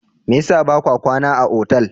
Me yasa ba ka kwana a otal?